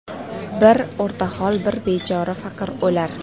Bir o‘rtahol, bir bechora faqir o‘lar.